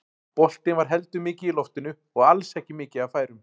Boltinn var heldur mikið í loftinu og alls ekki mikið af færum.